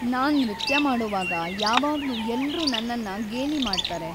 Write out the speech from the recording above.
ನಾನ್ ನೃತ್ಯ ಮಾಡೋವಾಗ ಯಾವಾಗ್ಲೂ ಎಲ್ರೂ ನನ್ನನ್ನ ಗೇಲಿ ಮಾಡ್ತಾರೆ.